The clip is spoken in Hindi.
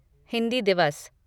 हिंदी दिवस